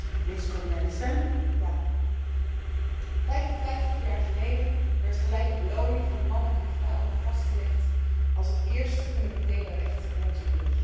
Voorzitter, 55 jaar geleden werd gelijke beloning voor mannen en vrouwen vastgelegd als het eerste fundamentele recht in onze Unie.